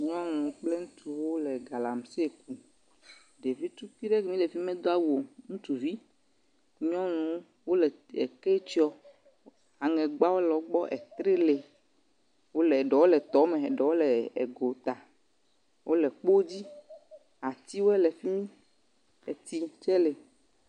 Nyɔnu kple ŋutsuwo le galamsey kum. Ɖevi ɖe tukui le fi ma medo awu o. Ŋutsuvi, nyɔnuwo wole ekɔ tsiɔm. Aŋegbawo le wogbɔ. Etrɛ li. Eɖewo le tɔme eɖowo le gota. Wole kpodzi. Atiwo le fi mi. Keti tsɛ li.